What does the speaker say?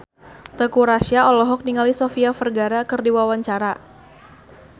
Teuku Rassya olohok ningali Sofia Vergara keur diwawancara